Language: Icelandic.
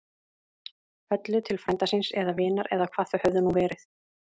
Höllu til frænda síns. eða vinar. eða hvað þau höfðu nú verið.